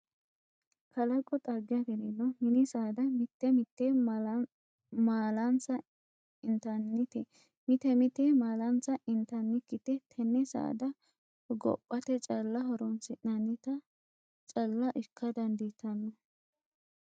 Kalaqu xagge afirino mini saada mite mite malansa intanite mite mite malansa intannikkite tene saada hogophate calla horonsi'nanitta calla ikka dandiittano.